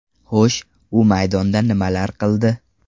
Xo‘sh, u maydonda nimalar qildi?